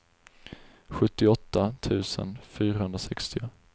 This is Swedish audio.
sjuttioåtta tusen fyrahundrasextio